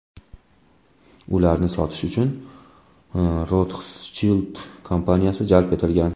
Ularni sotish uchun Rothschild kompaniyasi jalb etilgan.